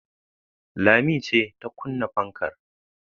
Lami ce ta kunna fankar